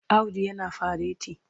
Audu yana fareti.